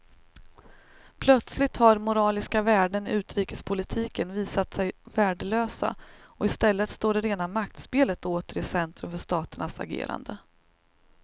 Plötsligt har moraliska värden i utrikespolitiken visat sig värdelösa och i stället står det rena maktspelet åter i centrum för staternas agerande.